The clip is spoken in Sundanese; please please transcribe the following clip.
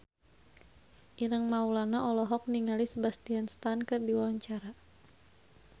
Ireng Maulana olohok ningali Sebastian Stan keur diwawancara